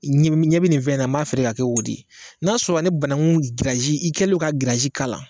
I ɲi i ɲɛ be nin fɛ na i b'a feere k'a kɛ o de ye n'a sɔrɔ ni banagu giriyazi i kɛlen don ka giriyazi k'ala